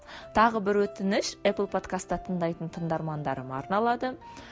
тағы бір өтініш эпл подкаста тыңдайтын тыңдармандарыма арналады